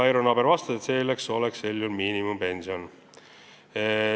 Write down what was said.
Eero Naaber vastas, et sel juhul saaksid nad miinimumpensioni.